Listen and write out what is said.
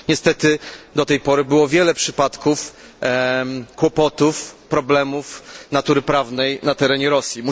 Niestety do tej pory było wiele przypadków kłopotów, problemów natury prawnej na terenie Rosji.